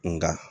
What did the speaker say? Nga